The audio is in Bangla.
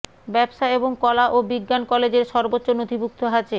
ব্যবসা এবং কলা ও বিজ্ঞান কলেজের সর্বোচ্চ নথিভুক্ত আছে